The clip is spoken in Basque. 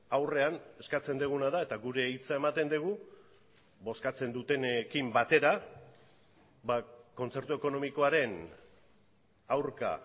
aurrean eskatzen duguna da eta gure hitza ematen dugu bozkatzen dutenekin batera kontzertu ekonomikoaren aurka